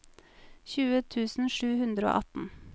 tjue tusen sju hundre og atten